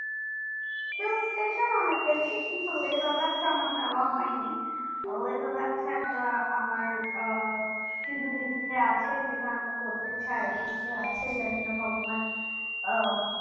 hill stations এ অনেক গেছি কিন্তু লে লাদাখ টা আমার যাওয়া হয়নি লে লাদাখ টা একটা আমার আহ আহ সুদূর ইচ্ছা আছে আমার যেটা করতে চাই কি আছে জানিনা ভগবান ও